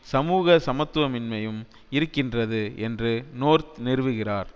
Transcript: சமூக சமத்துவமின்மையும் இருக்கின்றது என்று நோர்த் நிறுவுகிறார்